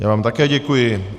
Já vám také děkuji.